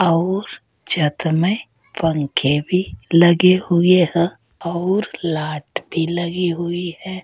और छत में पंखे भी लगे हुए हैं और लाट भी लगी हुई है।